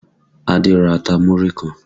Adé ra ata múrí kan